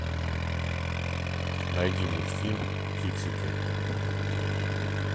найди мультфильм фиксики